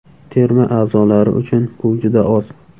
Terma a’zolari uchun bu juda oz.